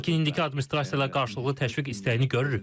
Lakin indiki administrasiya ilə qarşılıqlı təşviq istəyini görürük.